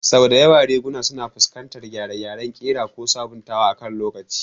Sau da yawa riguna suna fuskantar gyare-gyaren ƙira ko sabuntawa akan lokaci.